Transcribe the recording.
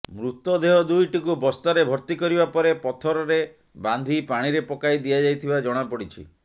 ମୃତଦେହ ଦୁଇଟିକୁ ବସ୍ତାରେ ଭର୍ତ୍ତି କରିବା ପରେ ପଥରରେ ବାନ୍ଧି ପାଣିରେ ପକାଇ ଦିଆଯାଇଥିବା ଜଣାପଡିଛି